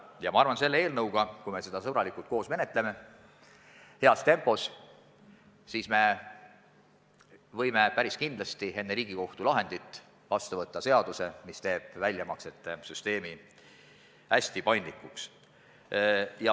Ja ma arvan, et kui me seda eelnõu sõbralikult ja heas tempos koos menetleme, siis võime päris kindlasti enne Riigikohtu lahendit vastu võtta seaduse, mis teeb väljamaksete süsteemi hästi paindlikuks.